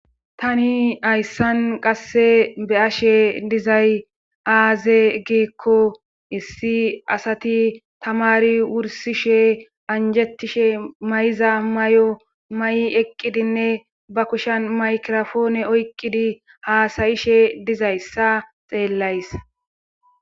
Tani hayssan qasse be ashe dizay aaze giekko issi asati tamari wursishe anjettishe may7iza may7o may7i eqqidinne ba kushan maykirofoone oyqqidi haasayishe dizayssa xeellays.